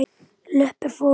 Löpp er fót.